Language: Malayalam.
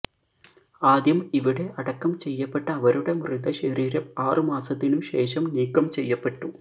ആദ്യം ഇവിടെ അടക്കം ചെയ്യപ്പെട്ട അവരുടെ മൃതശരീരം ആറുമാസത്തിനുശേഷം നീക്കം ചെയ്യപ്പെട്ടു